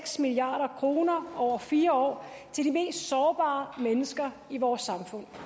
milliard kroner over fire år til de mest sårbare mennesker i vores samfund